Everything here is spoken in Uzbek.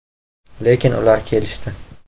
Lekin ular kelishdi.